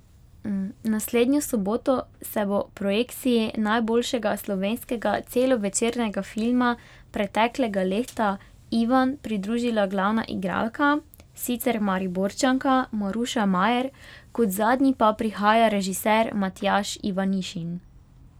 Naslednjo soboto se bo projekciji najboljšega slovenskega celovečernega filma preteklega leta Ivan pridružila glavna igralka, sicer Mariborčanka, Maruša Majer, kot zadnji pa prihaja režiser Matjaž Ivanišin.